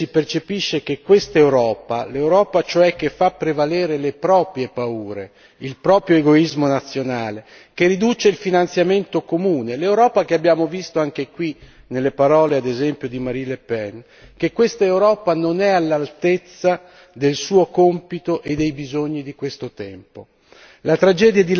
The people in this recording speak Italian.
In questa tragedia si percepisce che quest'Europa, l'Europa cioè che fa prevalere le proprie paure, il proprio egoismo nazionale, che riduce il finanziamento comune, l'Europa che abbiamo visto anche qui, nelle parole, ad esempio, di Marine Le Pen che quest'Europa non è all'altezza del suo compito e dei bisogni di questo tempo.